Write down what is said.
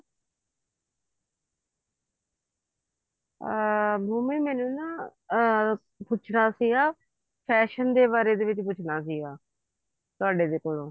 ਅਮ ਭੂਮੀ ਮੈਨੂੰ ਨਾ ਅਮ ਪੁੱਛਣਾ ਸੀਗਾ fashion ਦੇ ਬਾਰੇ ਦੇ ਵਿੱਚ ਪੁੱਛਣਾ ਸੀਗਾ ਤੁਹਾਡੇ ਦੇ ਕੋਲੋਂ